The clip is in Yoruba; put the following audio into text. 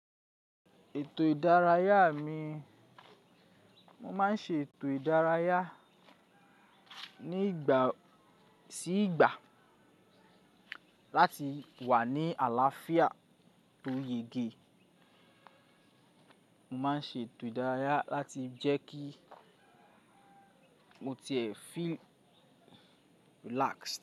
Ètò ìdárayá mi, mo máa ń ṣe ètò ìdárayá ní ìgbà sí ìgbà láti wà ní àlàáfíà tó yege. Mo máa ń ṣe ètò ìdárayá láti jẹ́ kí mo tiẹ́ feel relaxed.